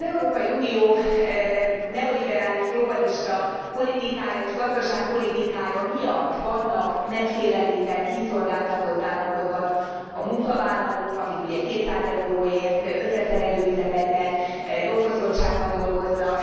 Az Európai Unió neoliberális, globalista politikája és gazdaságpolitikája miatt vannak megfélemlített, kiszolgáltatott állapotban a munkavállalók, akik, ugye, 200 euróért összeszerelő üzemekben jogfosztottságban dolgoznak.